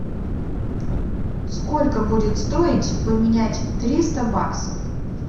сколько будет стоить поменять триста баксов